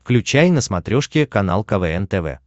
включай на смотрешке канал квн тв